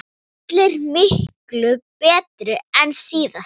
Allar miklu betri en síðast!